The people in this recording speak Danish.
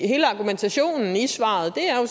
hele argumentationen i svaret er jo